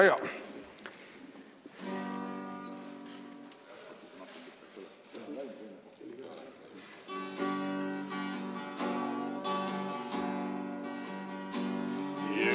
Väga hea!